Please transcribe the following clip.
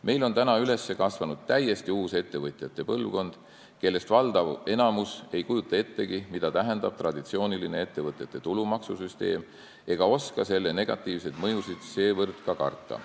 Meil on üles kasvanud täiesti uus ettevõtjate põlvkond, kellest valdav osa ei kujuta ettegi, mida tähendab traditsiooniline ettevõtete tulumaksu süsteem, ega oska selle negatiivseid mõjusid seevõrd ka karta.